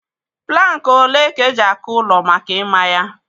Plankị olee ka eji-akụ ụlọ maka ịmá ya?